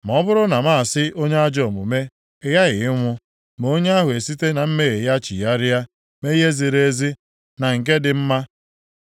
Ma ọ bụrụ na m asị onye ajọ omume, ‘Ị ghaghị ịnwụ,’ ma onye ahụ esite na mmehie ya chigharịa, mee ihe ziri ezi na nke dị mma,